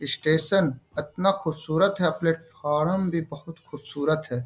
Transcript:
Station इतना खूबसूरत है प्लेटफार्म भी बहुत खूबसूरत है।